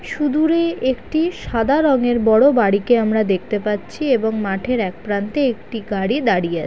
সুদুরে একটি সাদা রংয়ের বড় বাড়িকে আমরা দেখতে পাচ্ছি এবং মাঠের এক প্রান্তে একটি গাড়ি দাঁড়িয়ে আ--